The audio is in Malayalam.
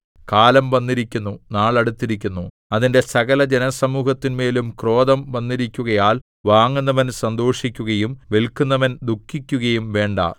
കാലം വന്നിരിക്കുന്നു നാൾ അടുത്തിരിക്കുന്നു അതിന്റെ സകല ജനസമൂഹത്തിന്മേലും ക്രോധം വന്നിരിക്കുകയാൽ വാങ്ങുന്നവൻ സന്തോഷിക്കുകയും വില്‍ക്കുന്നവൻ ദുഃഖിക്കുകയും വേണ്ടാ